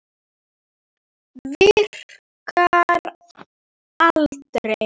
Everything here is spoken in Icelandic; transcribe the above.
Virkar aldrei.